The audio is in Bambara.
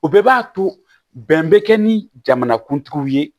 O bɛɛ b'a to bɛn bɛ kɛ ni jamanakuntigi ye